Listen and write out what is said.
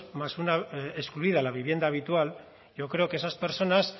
más una excluida la vivienda habitual yo creo que esas personas